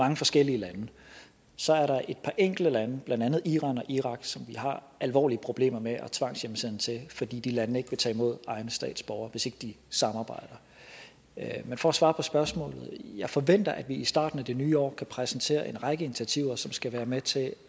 mange forskellige lande så er der et par enkelte lande blandt andet iran og irak som vi har alvorlige problemer med at tvangshjemsende til fordi de lande ikke vil tage imod egne statsborgere hvis ikke de samarbejder men for at svare på spørgsmålet vil jeg forventer at vi i starten af det nye år kan præsentere en række initiativer som skal være med til